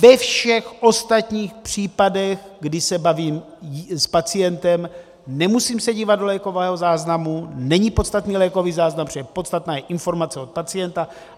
Ve všech ostatních případech, kdy se bavím s pacientem, nemusím se dívat do lékového záznamu, není podstatný lékový záznam, protože podstatná je informace od pacienta.